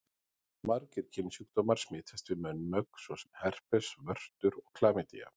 Margir kynsjúkdómar smitast við munnmök svo sem herpes, vörtur og klamydía.